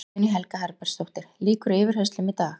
Guðný Helga Herbertsdóttir: Lýkur yfirheyrslum í dag?